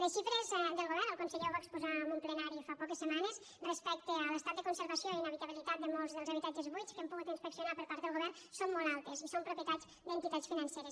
les xifres del govern el conseller ho va exposar en un plenari fa poques setmanes respecte a l’estat de conservació i d’inhabitabilitat de molts dels habitatges buits que han pogut inspeccionar per part del govern són molt altes i són propietats d’entitats financeres